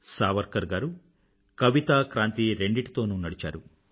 సావర్కర్ గారు కవిత క్రాంతి రెండిటితోనూ నడిచారు